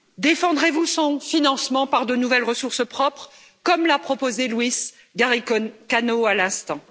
Défendrez vous son financement par de nouvelles ressources propres, comme l'a proposé Luis Garicano à l'instant?